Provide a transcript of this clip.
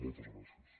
moltes gràcies